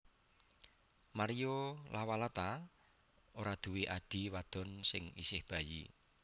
Mario Lawalata ora duwe adhi wadon sing isih bayi